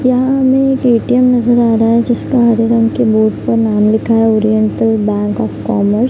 यहाँ हमें एक ए.टी.एम. नजर आ रहा है जिसका हरे रंग के बोर्ड पर नाम लिखा है ओरिएंटल बँक ऑफ़ कॉमर्स ।